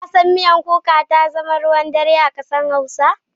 Shin ka san miya kuka ta zama ruwan dare a kasar hausawa?